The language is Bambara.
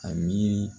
A miiri